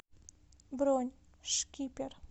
бронь шкипер